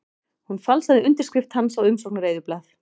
Hún falsaði undirskrift hans á umsóknareyðublað